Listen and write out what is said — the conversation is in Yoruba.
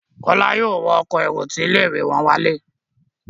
Kola yóò wọ Ọkọ̀ èrò tí ilé-ìwé wón wale.